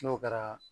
N'o kɛra